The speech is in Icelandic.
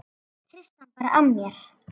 Hristi hann bara af mér.